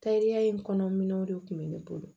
Tariya in kɔnɔ minɛw de tun bɛ ne bolo